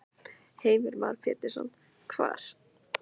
Heimir Már Pétursson: Hvar?